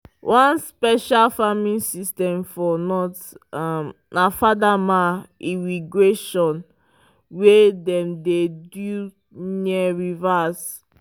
one special farming system for north um na fadama irrigation wey dem dey do near rivers